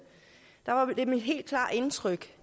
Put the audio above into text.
var mit helt klare indtryk